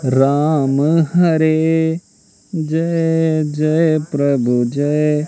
राम हरे जय जय प्रभु जय--